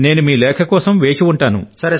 నేను మీ లేఖ కోసం వేచి ఉంటాను